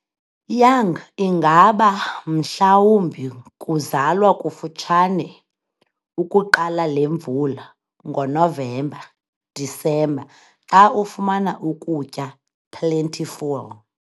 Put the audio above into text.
Young ingaba mhlawumbi kuzalwa kufutshane ukuqala lemvula, ngonovemba-disemba, xa ufumana ukutya plentiful.